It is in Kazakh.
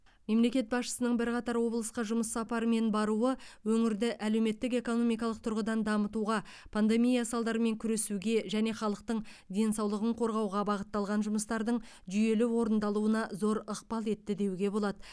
мемлекет басшысының бірқатар облысқа жұмыс сапарымен баруы өңірді әлеуметтік экономикалық тұрғыдан дамытуға пандемия салдарымен күресуге және халықтың денсаулығын қорғауға бағытталған жұмыстардың жүйелі орындалуына зор ықпал етті деуге болады